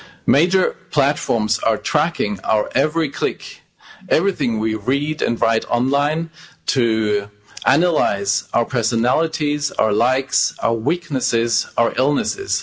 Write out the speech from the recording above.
Major platforms are tracking our every click, everything we read and write online, to analyse our personalities, our likes, our weaknesses, our illnesses.